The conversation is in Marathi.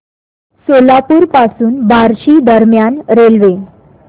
सोलापूर पासून बार्शी दरम्यान रेल्वे